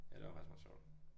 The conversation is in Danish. Ja det var faktisk meget sjovt